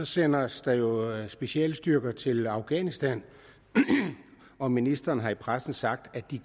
sendes der jo specialstyrker til afghanistan og ministeren har i pressen sagt at de